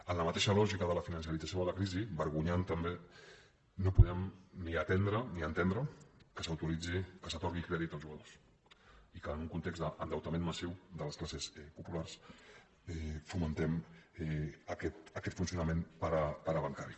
en la mateixa lògica de la financerització de la crisi vergonyant també no podem ni atendre ni entendre que s’autoritzi que s’atorgui crèdit als jugadors i que en un context d’endeutament massiu de les classes populars fomentem aquest funcionament parabancari